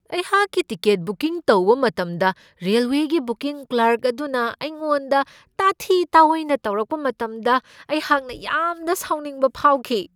ꯑꯩꯍꯥꯛꯀꯤ ticket booking ꯇꯧꯕ ꯃꯇꯝꯗ ꯔꯦꯜꯋꯦꯒꯤ ꯕꯨꯀꯤꯡ ꯀ꯭ꯂꯥꯔꯛ ꯑꯗꯨꯅ ꯑꯩꯉꯣꯟꯗ ꯇꯥꯊꯤ ꯇꯥꯑꯣꯏꯅ ꯇꯧꯔꯛꯄ ꯃꯇꯝꯗ ꯑꯩꯍꯥꯛꯅ ꯌꯥꯝꯅ ꯁꯥꯎꯅꯤꯡꯕ ꯐꯥꯎꯈꯤ꯫